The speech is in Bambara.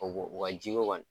u ka ji ko kɔni